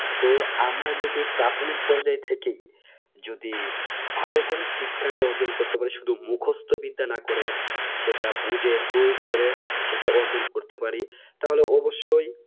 তো আমরা যদি প্রাথমিক পর্যায় থেকে যদি ভালো করে শিক্ষাটা অর্জন করতে পারে শুধু মুখস্ত বিদ্যা না করে সেটা বুঝেপ্ৰয়োগ করে সেটা অর্জন করতে পারি তাহলে অবশ্যই